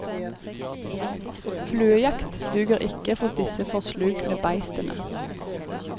Fluejakt duger ikke for disse forslukne bestene.